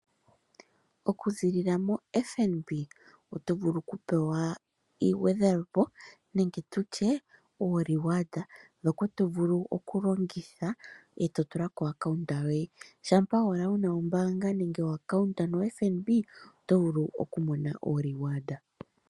Okuziilila moFNB oto vulu okupewa iigwedhelopo nenge uureward mboka tovulu okulongitha eto tula kombaanga yoye , shampa owala wuna ombaanga yoFNB oto vulu okumona uureward.